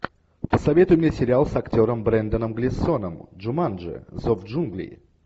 посоветуй мне сериал с актером бренданом глисоном джуманджи зов джунглей